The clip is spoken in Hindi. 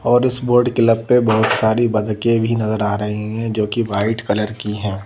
और इस बोर्ड क्लब पे बहुत सारी बतखे भी नज़र आ रही हैं जो कि वाइट कलर की हैं।